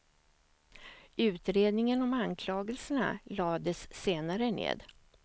Utredningen om anklagelserna lades senare ned.